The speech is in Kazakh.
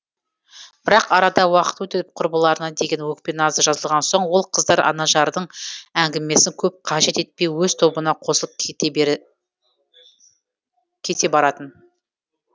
бірақ арада уақыт өтіп құрбыларына деген өкпе назы жазылған соң ол қыздар анажардың әңгімесін көп қажет етпей өз тобына қосылып кете баратын